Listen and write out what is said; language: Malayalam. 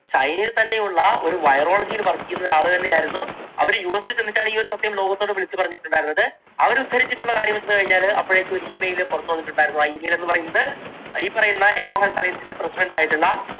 ചൈനയിൽ തന്നെയുള്ള ഒരു virology യിൽ work ചെയ്തിരുന്ന ഒരു ആളു തന്നെയായിരുന്നു അവർ യുഎസിൽ ചെന്നിട്ടാണ് ഈ ഒരു സത്യം ലോകത്തോട് വിളിച്ചു പറഞ്ഞിട്ടുണ്ടായിരുന്നത്. അവർ ഉദ്ധരിച്ചിട്ടുള്ള കാര്യം എന്താണെന്ന് വെച്ചുകഴിഞ്ഞാൽ അപ്പോഴേക്കും ഒരു Email പുറത്ത് വന്നിട്ടുണ്ടായിരുന്നു. ആ email എന്നുപറയുന്നത് ഈ പറയുന്ന എക്കോ ഹെൽത്ത് അലയൻസിന്റെ president യിട്ടുള്ള